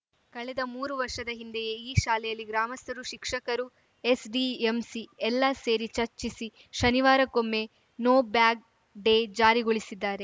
ಕಳೆದ ಮೂರು ವರ್ಷದ ಹಿಂದೆಯೇ ಈ ಶಾಲೆಯಲ್ಲಿ ಗ್ರಾಮಸ್ಥರು ಶಿಕ್ಷಕರು ಎಸ್‌ಡಿಎಂಸಿ ಎಲ್ಲಾ ಸೇರಿ ಚರ್ಚಿಸಿ ಶನಿವಾರಕ್ಕೊಮ್ಮೆ ನೋ ಬ್ಯಾಗ್‌ ಡೇ ಜಾರಿಗೊಳಿಸಿದ್ದಾರೆ